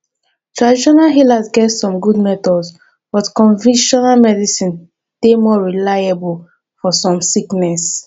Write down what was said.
traditional healers get some good methods but convictional medicine dey more reliable for some sickness